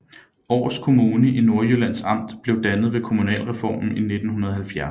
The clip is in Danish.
Aars Kommune i Nordjyllands Amt blev dannet ved kommunalreformen i 1970